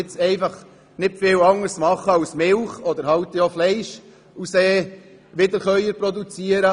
Dort kann man nicht viel anderes tun, als Wiederkäuer zu halten und damit Milch oder Fleisch zu produzieren.